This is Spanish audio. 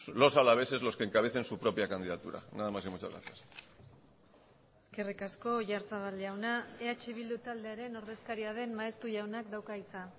los alaveses los que encabecen su propia candidatura nada más y muchas gracias eskerrik asko oyarzabal jauna eh bildu taldearen ordezkaria den maeztu jaunak dauka hitza